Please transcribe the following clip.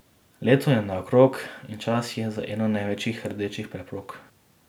Leto je naokrog in čas je za eno največjih rdečih preprog.